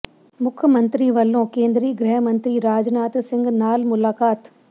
ਮੁੱਖ ਮੰਤਰੀ ਵੱਲੋਂ ਕੇਂਦਰੀ ਗ੍ਰਹਿ ਮੰਤਰੀ ਰਾਜਨਾਥ ਸਿੰਘ ਨਾਲ ਮੁਲਾਕਾਤ